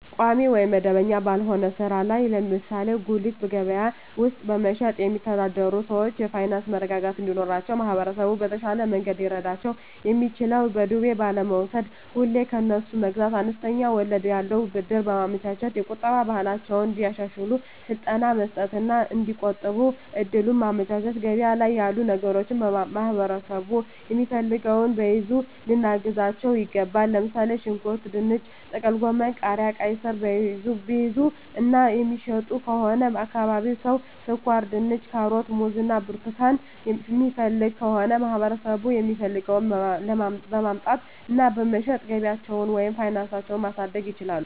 ቋሚ ወይም መደበኛ ባልሆነ ሥራ ላይ (ለምሳሌ በጉሊት ገበያ ውስጥ በመሸጥ)የሚተዳደሩ ሰዎች የፋይናንስ መረጋጋት እንዲኖራቸው ማህበረሰቡ በተሻለ መንገድ ሊረዳቸው የሚችለው በዱቤ ባለመውስድ፤ ሁሌ ከነሱ መግዛት፤ አነስተኛ ወለድ ያለው ብድር በማመቻቸት፤ የቁጠባ ባህላቸውን እንዲያሻሽሉ ስልጠና መስጠት እና እዲቆጥቡ እድሉን ማመቻቸት፤ ገበያ ላይ ያሉ ነገሮችን ማህበረሠቡ የሚፈልገውን ቢይዙ ልናግዛቸው ይገባል። ለምሣሌ፦ ሽንኩርት፤ ድንች፤ ጥቅልጎመን፤ ቃሪያ፤ ቃይስር፤ የሚይዙ እና የሚሸጡ ከሆነ የአካባቢው ሠው ስኳርድንች፤ ካሮት፤ ሙዝ እና ብርቱካን የሚፈልግ ከሆነ ለማህበረሰቡ የሚፈልገውን በማምጣት እና በመሸጥ ገቢያቸውን ወይም ፋናሳቸው ማሣደግ ይችላሉ።